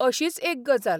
अशीच एक गजाल.